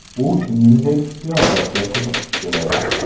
U, shuningdek, siyosatga qiziqib keladi.